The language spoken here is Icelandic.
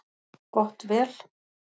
Gott vel.